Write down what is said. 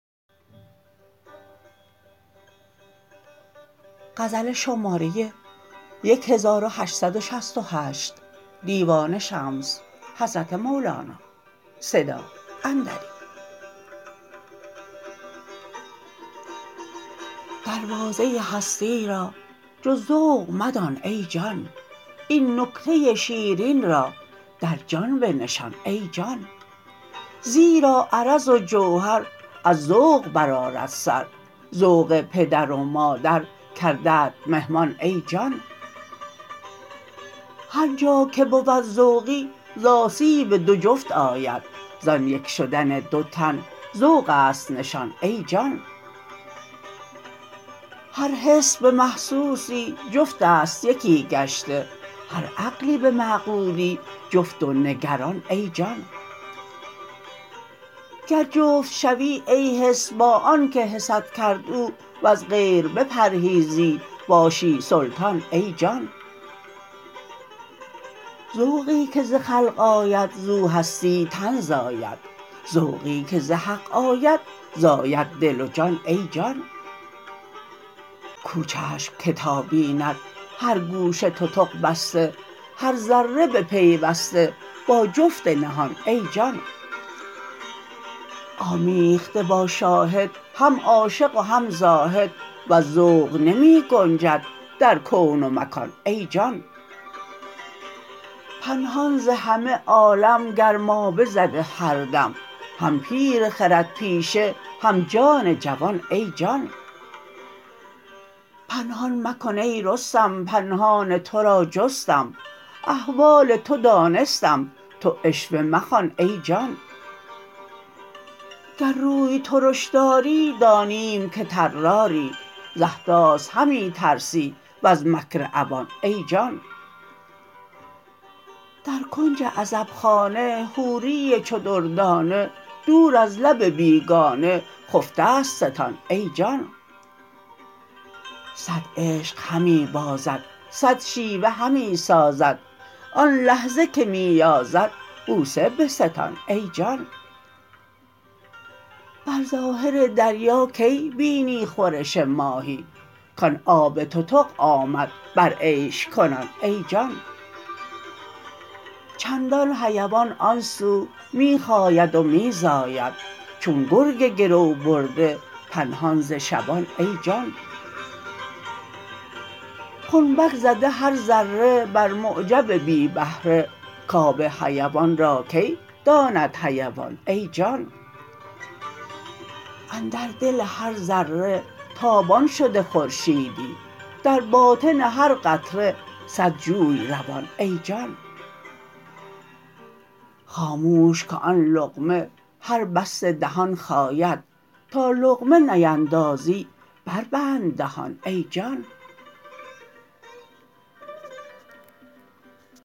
دروازه هستی را جز ذوق مدان ای جان این نکته شیرین را در جان بنشان ای جان زیرا عرض و جوهر از ذوق برآرد سر ذوق پدر و مادر کردت مهمان ای جان هر جا که بود ذوقی ز آسیب دو جفت آید زان یک شدن دو تن ذوق است نشان ای جان هر حس به محسوسی جفت است یکی گشته هر عقلی به معقولی جفت و نگران ای جان گر جفت شوی ای حس با آنک حست کرد او وز غیر بپرهیزی باشی سلطان ای جان ذوقی که ز خلق آید زو هستی تن زاید ذوقی که ز حق آید زاید دل و جان ای جان کو چشم که تا بیند هر گوشه تتق بسته هر ذره بپیوسته با جفت نهان ای جان آمیخته با شاهد هم عاشق و هم زاهد وز ذوق نمی گنجد در کون و مکان ای جان پنهان ز همه عالم گرمابه زده هر دم هم پیر خردپیشه هم جان جوان ای جان پنهان مکن ای رستم پنهان تو را جستم احوال تو دانستم تو عشوه مخوان ای جان گر روی ترش داری دانیم که طراری ز احداث همی ترسی وز مکر عوان ای جان در کنج عزبخانه حوری چو دردانه دور از لب بیگانه خفته ست ستان ای جان صد عشق همی بازد صد شیوه همی سازد آن لحظه که می یازد بوسه بستان ای جان بر ظاهر دریا کی بینی خورش ماهی کان آب تتق آمد بر عیش کنان ای جان چندان حیوان آن سو می خاید و می زاید چون گرگ گرو برده پنهان ز شبان ای جان خنبک زده هر ذره بر معجب بی بهره کآب حیوان را کی داند حیوان ای جان اندر دل هر ذره تابان شده خورشیدی در باطن هر قطره صد جوی روان ای جان خاموش که آن لقمه هر بسته دهان خاید تا لقمه نیندازی بربند دهان ای جان